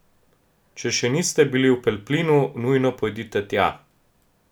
Če še niste bili v Pelplinu, nujno pojdite tja.